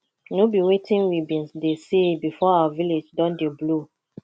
no be wetin we bin dey say before our village don dey blow